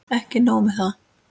Ekki nóg með það.